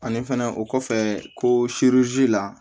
Ani fɛnɛ o kɔfɛ ko la